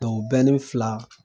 fila